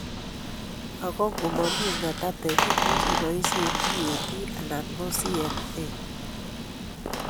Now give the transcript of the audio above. Ago ngo mami ng'atateek imuuchi iboisye DAP anan CAN